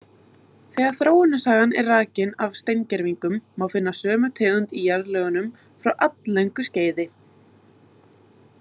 Þegar þróunarsagan er rakin af steingervingum, má finna sömu tegund í jarðlögum frá alllöngu skeiði.